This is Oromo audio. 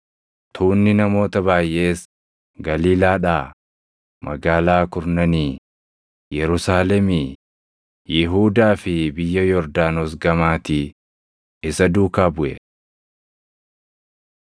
Tuunni namoota baayʼees Galiilaadhaa, Magaalaa Kurnanii, Yerusaalemii, Yihuudaa fi biyya Yordaanos gamaatii isa duukaa buʼe.